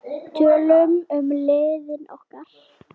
Tölum um líðan okkar.